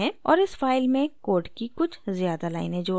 और इस file में code की कुछ ज़्यादा लाइनें जोड़ते हैं